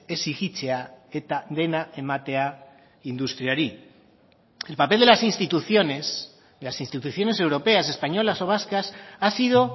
exijitzea eta dena ematea industriari el papel de las instituciones las instituciones europeas españolas o vascas ha sido